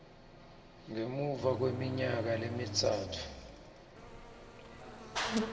ngemuva kweminyaka lemitsatfu